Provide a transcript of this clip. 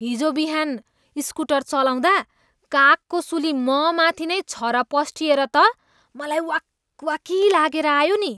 हिजो बिहान स्कुटर चलाउँदा कागको सुली ममाथि नै छरपस्टिएर त मलाई वाकवाकी लागेर आयो नि।